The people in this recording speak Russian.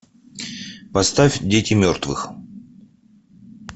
поставь дети мертвых